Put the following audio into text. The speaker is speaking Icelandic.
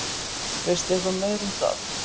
Veistu eitthvað meira um það?